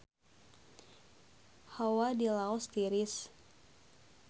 Hawa di Laos tiris